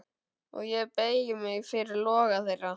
Og ég beygi mig fyrir loga þeirra.